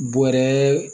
Bɔrɛ